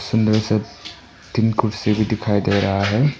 अंदर सब तीन कुर्सी भी दिखाई दे रहा है।